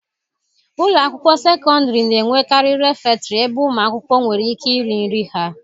Ụlọ akwụkwọ sekọndịrị na-enwekarị refetịrị ebe ụmụ akwụkwọ nwere ike iri nri ha.